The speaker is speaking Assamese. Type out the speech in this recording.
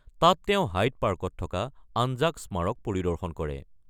তাত তেওঁ হাইদ পাৰ্কত থকা আনজাক স্মাৰক পৰিদৰ্শন কৰে।